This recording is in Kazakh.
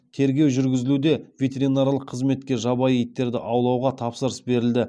тергеу жүргізілуде ветеринарлық қызметке жабайы итттерді аулауға тапсырыс берілді